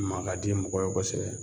Ma ka di mɔgɔ ye kosɛbɛ